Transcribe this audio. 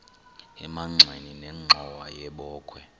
emagxeni nenxhowa yebokhwe